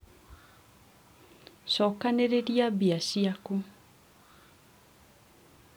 cokanĩrĩria mbia ciaku